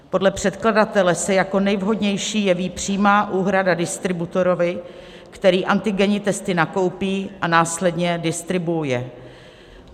Podle předkladatele se jako nejvhodnější jeví přímá úhrada distributorovi, který antigenní testy nakoupí a následně distribuuje.